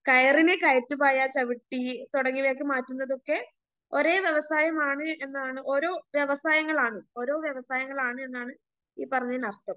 കയറിനെ കയറ്റുപായ ചവിട്ടി തുടങ്ങിയവയാക്കി മാറ്റുന്നതൊക്കെ ഒരേ വ്യവസായമാണ് എന്നാണ് ഓരോ വ്യവസായങ്ങളാണ് ഓരോ വ്യവസായങ്ങളാണ് എന്നാണ് ഈ പറഞ്ഞതിനർത്ഥം.